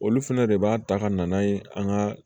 Olu fɛnɛ de b'a ta ka na n'a ye an ka